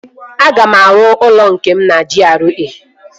Aga m arụ ụlọ nke m na GRA